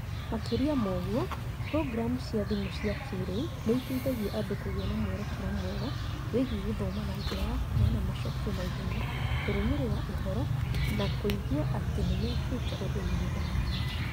Makĩria ma ũguo, programu cia thimu cia kĩĩrĩu nĩ iteithagia andũ kũgĩa na mwerekera mwega wĩgiĩ gũthoma na njĩra ya kũheana macokio na ihenya, kũrũmĩrĩra ũhoro, na kũigua atĩ nĩ mekĩte ũndũ mwega.